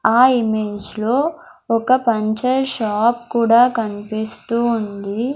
ఆ ఇమేజ్ లో ఒక పంచర్ షాప్ కూడా కన్పిస్తూ ఉంది.